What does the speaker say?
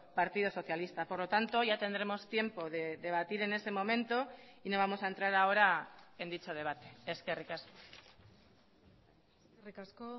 partido socialista por lo tanto ya tendremos tiempo de debatir en ese momento y no vamos a entrar ahora en dicho debate eskerrik asko eskerrik asko